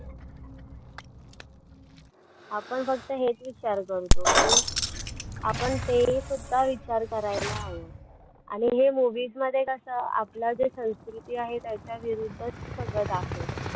आपण फक्त हेच विचार करतो पण आपण ते सुद्धा विचार करायला हवं आणि हे movies मध्ये कसं आपलं जे संस्कृती आहे त्याच्याविरुद्ध सगळं दाखवलं